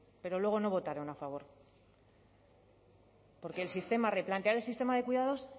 pero luego no votaron a favor porque el sistema replantea un sistema de cuidados